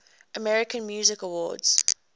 american music awards